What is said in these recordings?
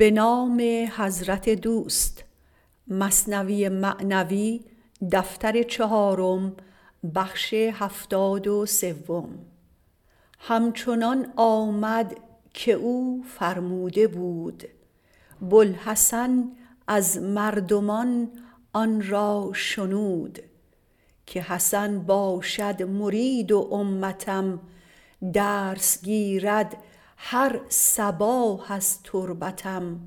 هم چنان آمد که او فرموده بود بوالحسن از مردمان آن را شنود که حسن باشد مرید و امتم درس گیرد هر صباح از تربتم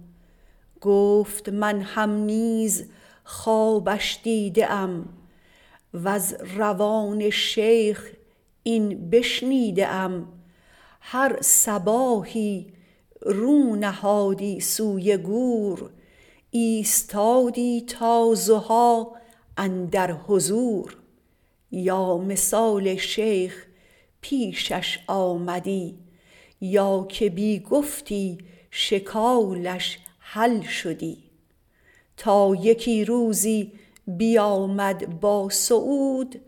گفت من هم نیز خوابش دیده ام وز روان شیخ این بشنیده ام هر صباحی رو نهادی سوی گور ایستادی تا ضحی اندر حضور یا مثال شیخ پیشش آمدی یا که بی گفتی شکالش حل شدی تا یکی روزی بیامد با سعود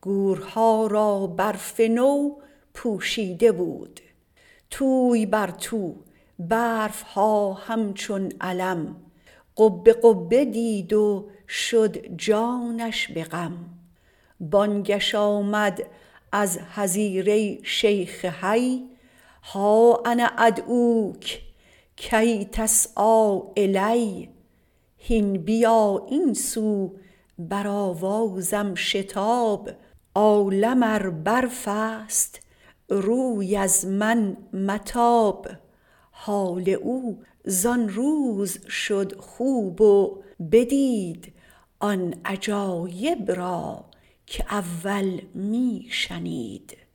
گورها را برف نو پوشیده بود توی بر تو برف ها هم چون علم قبه قبه دید و شد جانش به غم بانگش آمد از حظیره شیخ حی ها انا ادعوک کی تسعیٰ الی هین بیا این سو بر آوازم شتاب عالم ار برفست روی از من متاب حال او زان روز شد خوب و بدید آن عجایب را که اول می شنید